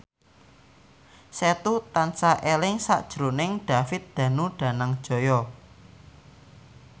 Setu tansah eling sakjroning David Danu Danangjaya